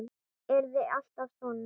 Yrði alltaf svona.